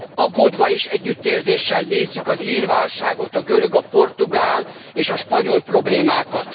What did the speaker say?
Aggódva és együttérzéssel nézzük az ír válságot, a görög, a portugál és a spanyol problémákat.